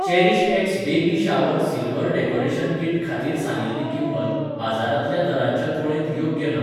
CherishX baby shower silver decoration kit खातीर सांगिल्ली किंमत बाजारांतल्या दरांच्या तुळेंत योग्य ना.